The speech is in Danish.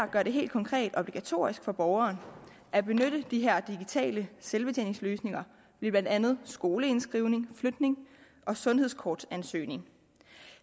gør det helt konkret obligatorisk for borgeren at benytte de her digitale selvbetjeningsløsninger ved blandt andet skoleindskrivning flytning og sundhedskortansøgning